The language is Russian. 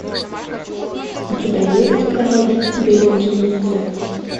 у тебя есть король бельгийцев